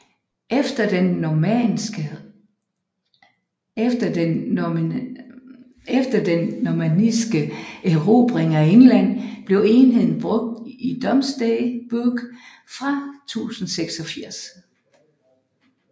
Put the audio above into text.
Efter den normanniske erobring af England blev enheden brugt i Domesday Book fra 1086